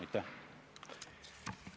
Aitäh!